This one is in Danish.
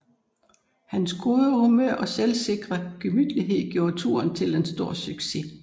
Hans gode humor og selvsikre gemytlighed gjorde turen til en stor succes